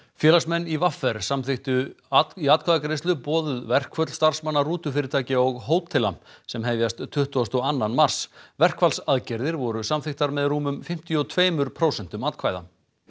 félagsmenn í v r samþykktu í atkvæðagreiðslu boðuð verkföll starfsmanna rútufyrirtækja og hótela sem hefjast tuttugasta og annan mars verkfallsaðgerðir voru samþykktar með rúmum fimmtíu og tveimur prósentum atkvæða